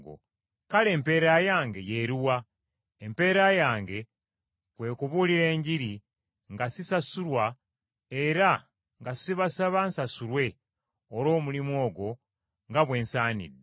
Kale empeera yange y’eruwa? Empeera yange kwe kubuulira Enjiri nga sisasulwa era nga sibasaba nsasulwe olw’omulimu ogwo nga bwe nsaanidde.